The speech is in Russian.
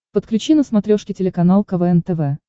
подключи на смотрешке телеканал квн тв